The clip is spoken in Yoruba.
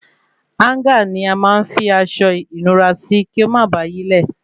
Háńgà ní a máa ń fi aṣọ ìnura sí kí o má bà yílẹ̀